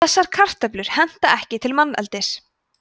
þessar kartöflur henta ekki til manneldis